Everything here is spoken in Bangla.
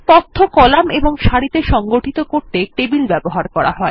তথ্য কলাম এবং সারিত়ে সংগঠিত করতে টেবিল ব্যবহার করা হয়